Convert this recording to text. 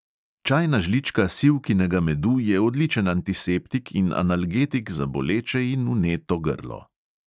Čajna žlička sivkinega medu je odličen antiseptik in analgetik za boleče in vneto grlo.